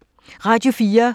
Radio 4